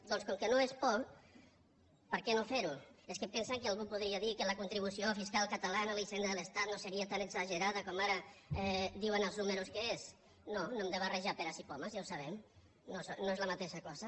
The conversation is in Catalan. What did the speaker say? doncs com que no és por per què no fer ho és que pensen que algú podria dir que la contribució fiscal catalana a la hisenda de l’estat no seria tan exagerada com ara diuen els números que és no no hem de barrejar peres i pomes ja ho sabem no són la mateixa cosa